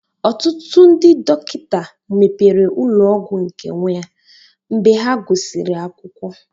Ọtụtụ ndị dọkịta mepere ụlọ ọgwụ nke onwé mgbe ha gụsịrị akwụkwọ